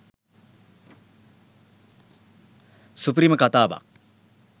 සුපිරිම කතාවක්.